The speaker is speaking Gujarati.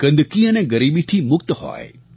ગંદકી અને ગરીબીથી મુક્ત હોય